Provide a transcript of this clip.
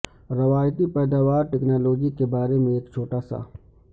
روایتی پیداوار ٹیکنالوجی کے بارے میں ایک چھوٹا سا